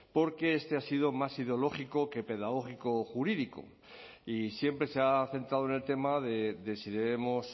porque este ha sido más ideológico que pedagógico jurídico y siempre se ha centrado en el tema de si debemos